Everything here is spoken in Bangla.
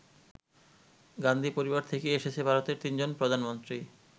গান্ধী পরিবার থেকেই এসেছে ভারতের তিনজন প্রধানমন্ত্রী।